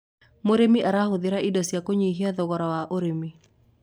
mũrĩmi arahuthira indo cia kunyihia thogora wa ũrĩmi